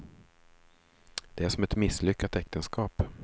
Det är som ett misslyckat äktenskap.